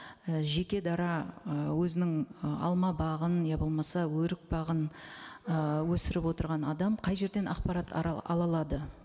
і жеке дара ы өзінің ы алма бағын я болмаса өрік бағын ы өсіріп отырған адам қай жерден ақпарат ала алады